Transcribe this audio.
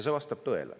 See vastab tõele.